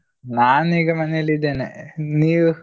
ನಾನ್ ಈಗ ಮನೇಲಿ ಇದ್ದೇನೆ ನೀವು?